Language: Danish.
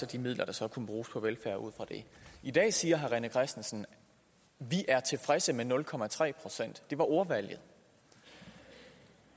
de midler der så kunne bruges på velfærd i dag siger herre rené christensen vi er tilfredse med nul procent det var ordvalget